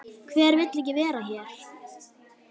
Hver vill ekki vera hér?